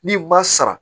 N'i ma sara